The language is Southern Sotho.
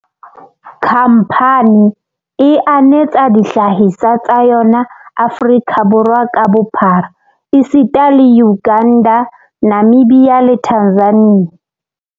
Khamphane e anetsa dihlahiswa tsa yona Aforika Borwa ka bophara esita le Uganda, Namibia le Tanzania.